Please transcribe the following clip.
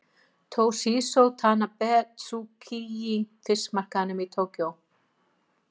Toshizo Tanabe, Tsukiji fiskmarkaðnum í Tókíó.